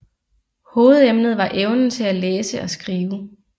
Hovedemnet var evnen til at læse og skrive